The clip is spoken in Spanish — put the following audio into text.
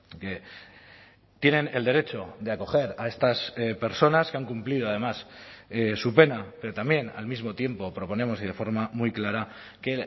que tienen el derecho de acoger a estas personas que han cumplido además su pena pero también al mismo tiempo proponemos y de forma muy clara que